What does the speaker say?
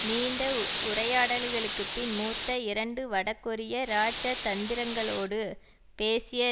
நீண்ட உரையாடல்களுக்குப்பின் மூத்த இரண்டு வடகொரிய இராஜதந்திரங்களோடு பேசிய